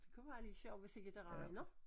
Kunne være lidt sjovt hvis ikke det regner